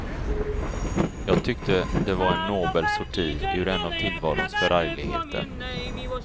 Jag tyckte det var en nobel sorti ur en av tillvarons förargligheter.